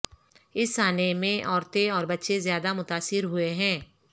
اس سانحے میں عورتیں اور بچے زیادہ متاثر ہوئے ہیں